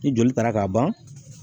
Ni joli taara k'a ban